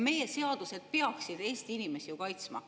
Meie seadused peaksid ju Eesti inimesi kaitsma.